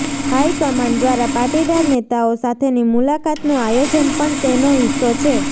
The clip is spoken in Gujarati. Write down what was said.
હાઇકમાન્ડ દ્વારા પાટીદાર નેતાઓ સાથેની મુલાકાતનું આયોજન પણ તેનો હિસ્સો છે